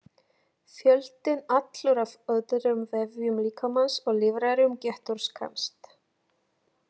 Fjöldinn allur af öðrum vefjum líkamans og líffærum getur skemmst.